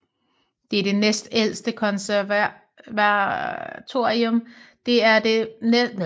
Det er det næstældste konservatorium i Rusland efter Sankt Petersborg konservatorium